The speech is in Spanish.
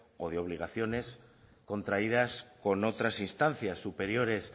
o de obligaciones contraídas con otras instancias superiores